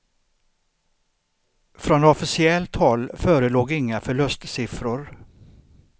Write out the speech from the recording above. Från officiellt håll förelåg inga förlustsiffror.